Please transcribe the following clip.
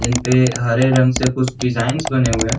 जिनपे हरे रंग से कुछ डिज़ाइन्स बने हुए हैं।